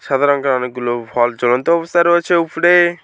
সাদা রঙ্গের অনেকগুলো ভল জ্বলন্ত অবস্থায় রয়েছে উফরে ।